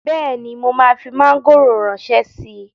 Bẹ́ẹ̀ni, mo máa fi mọ́ngòrò ránṣẹ́ síi